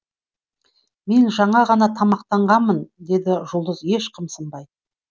мен жаңа ғана тамақтанғанмын деді жұлдыз еш қымсынбай